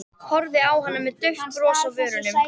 Horfði á hana með dauft bros á vörunum.